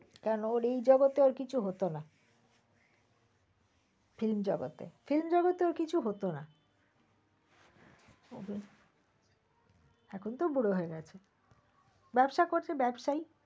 কেন ওর এই জগতে কিছু হত না, film জগতে film জগতে ওর কিছু হত না এখন তো বুড়ো হয়ে গেছে। ব্যবসা করছে ব্যবসায়।